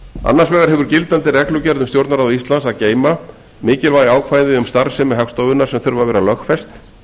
annars vegar hefur gildandi reglugerð um stjórnarráð íslands að geyma mikilvæg ákvæði um starfsemi hagstofunnar sem þurfa að vera lögfest